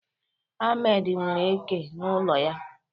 Ahmad nwere eke n'ụlọ ya.